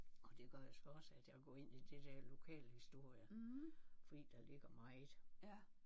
Og det gør jo så også at jeg er gået ind i det der lokalhistorie fordi der ligger meget